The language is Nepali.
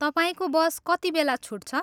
तपाईँको बस कतिबेला छुट्छ?